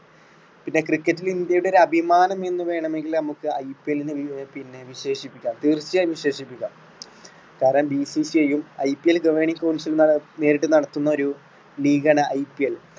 പിന്നെ cricket ൽ ഇന്ത്യയുടെ ഒരു അഭിമാനമെന്ന് വേണമെങ്കിൽ നമുക്ക് IPL നെ പി~പിന്നെ വിശേഷിപ്പിക്കാം തീർച്ചയായും വിശേഷിപ്പിക്കാം കാരണം BCCI ഉം IPL governing council നേരിട്ട് നടത്തുന്നൊരു league ആണ് IPL.